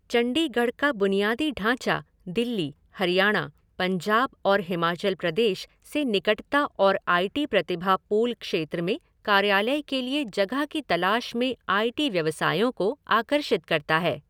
चंडीगढ़ का बुनियादी ढांचा दिल्ली, हरियाणा, पंजाब और हिमाचल प्रदेश से निकटता और आई टी प्रतिभा पूल क्षेत्र में कार्यालय के लिए जगह की तलाश में आई टी व्यवसायों को आकर्षित करता है।